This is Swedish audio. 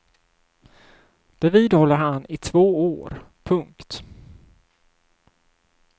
Det vidhåller han i två år. punkt